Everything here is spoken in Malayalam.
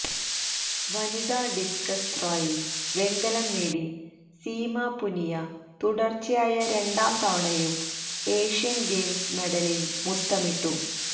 വനിതാ ഡിസ്കസ് ത്രോയില് വെങ്കലം നേടി സീമ പുനിയ തുടര്ച്ചയായ രണ്ടാം തവണയും ഏഷ്യന് ഗെയിംസ് മെഡലില് മുത്തമിട്ടു